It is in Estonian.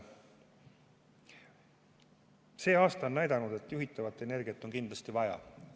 See aasta on näidanud, et juhitavat energiat on kindlasti vaja.